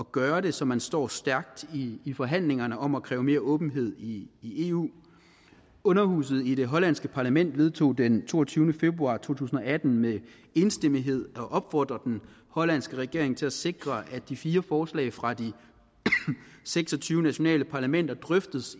gøre det så man står stærkt i forhandlingerne om at kræve mere åbenhed i i eu underhuset i det hollandske parlament vedtog den toogtyvende februar to tusind og atten med enstemmighed at opfordre den hollandske regering til at sikre at de fire forslag fra de seks og tyve nationale parlamenter drøftes